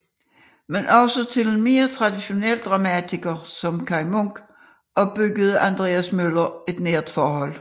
Men også til en mere traditionel dramatiker som Kaj Munk opbyggede Andreas Møller et nært forhold